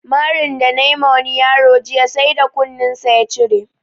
Marin da nayi ma wani yaro jiya sai da kunin sa ya cire